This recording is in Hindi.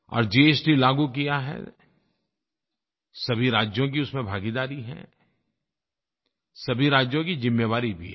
और जीएसटी लागू किया है सभी राज्यों की उसमें भागीदारी है सभी राज्यों की ज़िम्मेवारी भी है